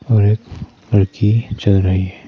और एक लड़की चल रही है।